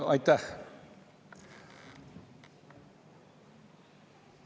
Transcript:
Aitäh!